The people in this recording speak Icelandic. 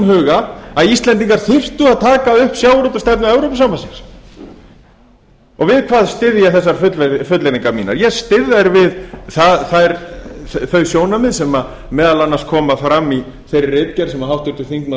huga að íslendingar þyrftu að taka upp sjávarútvegsstefnu evrópusambandsins við hvað styð ég þessar fullyrðingar mínar ég styð þær við þau sjónarmið sem meðal annars koma fram í þeirri ritgerð sem háttvirtur þingmaður